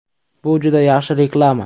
Bu juda yaxshi reklama.